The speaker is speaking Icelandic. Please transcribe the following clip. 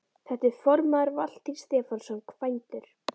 Þar er formaður Valtýr Stefánsson, kvæntur